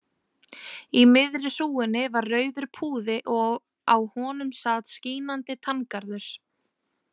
Í miðri hrúgunni var rauður púði og á honum sat skínandi tanngarður.